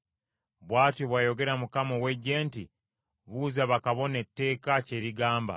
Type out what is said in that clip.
“Bw’atyo bw’ayogera Mukama ow’Eggye nti, ‘Buuza bakabona etteeka kye ligamba.